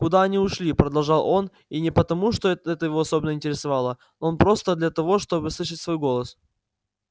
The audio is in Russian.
куда они ушли продолжал он и не потому что это его особенно интересовало но просто для того чтобы слышать свой голос